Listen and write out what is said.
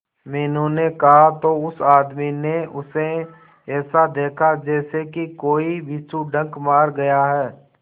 मीनू ने कहा तो उस आदमी ने उसे ऐसा देखा जैसे कि कोई बिच्छू डंक मार गया है